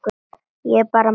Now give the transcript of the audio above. Ég bara man ekki.